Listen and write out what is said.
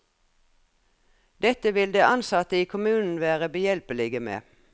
Dette vil de ansatte i kommunen være behjelpelige med.